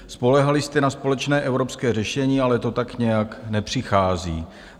Spoléhali jste na společné evropské řešení, ale to tak nějak nepřichází.